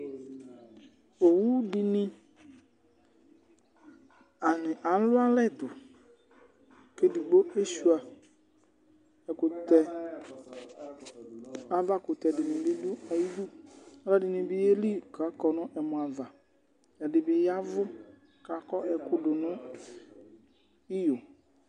Owu ɖìŋí alu alɛɖu kʋ ɛɖigbo ejʋa Ava kutɛ ɖìŋí bi ɖʋ ayʋ ɖu Alu ɛɖìní bi ɣeli kʋ akɔ ŋu ɛmɔ ava Ɛɖìní bi yavʋ kʋ akɔ ɛku ɖu ŋu iɣo